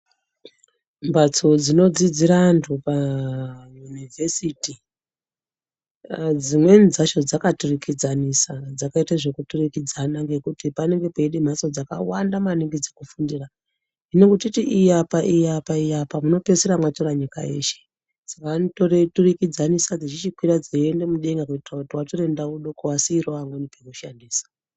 Mbatso dzinodzidxzira antu payunivhesiti dzimweni dzacho dzakaturukidzanisana dzakaite zvekuturukidzana ngekuti panenge peide mbatso dzakawanda maningi dzekufundira hino kuti titi iyi apa iyi apa iyi apa munopedzisira mwatora nyika yeshe vanoturukidzanisa dzechichikwira dzeiende mudenga kuitira kuti vatore ndau doko vasiirewo vamweni pekushandisa.